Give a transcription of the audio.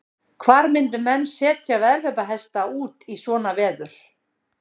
Hvar myndu menn setja veðhlaupahesta út í svona veður?